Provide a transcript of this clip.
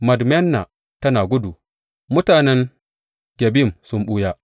Madmena tana gudu; mutanen Gebim sun ɓuya.